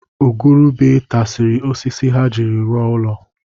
Igurube tasisiri osisi ha jiri rụọ ụlọ